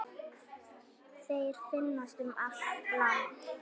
Þeir finnast um allt land.